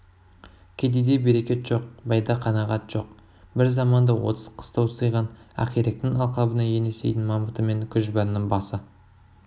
кедейде берекет жоқ байда қанағат жоқ бір заманда отыз қыстау сыйған ақиректің алқабына енесейдің мамыты мен күжбанның басы